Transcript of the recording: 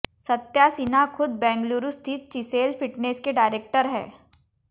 सत्या सिन्हा खुद बेंगलुरू स्थित Chisel fitness के डायरेक्टर हैं